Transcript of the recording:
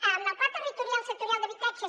en el pla territorial sectorial d’habitatge